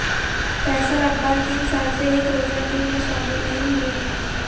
فیصل اقبال تین سال سے ایک روزہ ٹیم میں شامل نہیں ہوئے ہیں